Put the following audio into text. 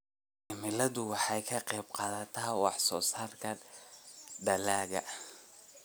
Cimiladu waxay ka qayb qaadataa wax soo saarka dalagga.